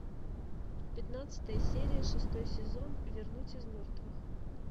пятнадцатая серия шестой сезон вернуть из мертвых